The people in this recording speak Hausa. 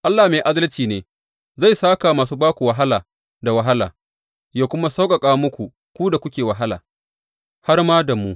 Allah mai adalci ne, Zai sāka wa masu ba ku wahala da wahala yă kuma sauƙaƙa muku ku da kuke wahala, har ma da mu.